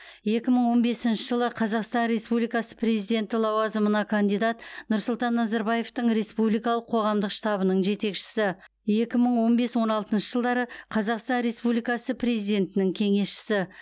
екі мың он бесінші жылы қазақстан республикасы президенті лауазымына кандидат нұрсұлтан назарбаевтың республикалық қоғамдық штабының жетекшісі екі мың он бес он алтыншы жылдары қазақстан республикасы президентінің кеңесшісі